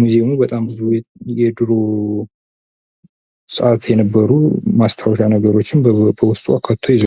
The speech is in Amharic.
ሙዙየሙ በጣም ብዙ የድሮ ሰአት የነበሩ ማስታዎሻ ነገሮችን በዉስጡ አካቶ ይዟል።